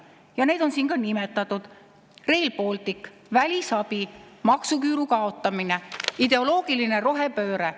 Ja need on siin ka nimetatud: Rail Baltic, välisabi, maksuküüru kaotamine, ideoloogiline rohepööre.